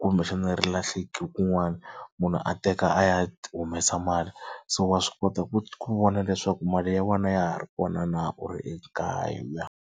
kumbexana ri lahleki kun'wana munhu a teka a ya humesa mali so wa swi kota ku vona leswaku mali ya wena ya ha ri kona na u ri ekaya.